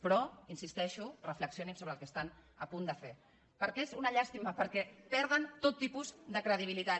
però hi insisteixo reflexionin sobre el que estan a punt de fer perquè és una llàstima perquè perden tot tipus de credibilitat